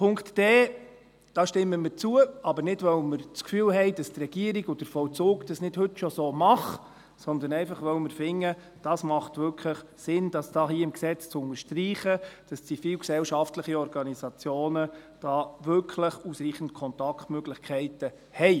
Dem Punkt d stimmen wir zu, aber nicht, weil wir das Gefühl haben, dass die Regierung und der Vollzug dies nicht heute schon so tun, sondern einfach, weil wir finden, es mache wirklich Sinn, im Gesetz zu unterstreichen, dass zivilgesellschaftliche Organisationen hier wirklich ausreichend Kontaktmöglichkeiten haben.